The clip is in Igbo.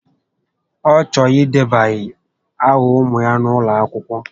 Ọ chọrọ idebanye áhà ụmụ ya n'ụlọakwụkwọ